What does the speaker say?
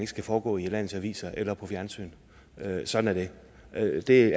skal foregå i landets aviser eller på fjernsyn sådan er det det